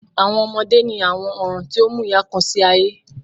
Awọn ọmọde ni awọn oran ti o mu iya kan si aye